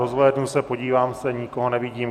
Rozhlédnu se, podívám se, nikoho nevidím.